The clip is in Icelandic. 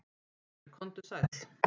Geir komdu sæll.